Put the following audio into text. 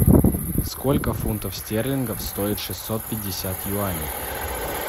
сколько фунтов стерлингов стоит шестьсот пятьдесят юаней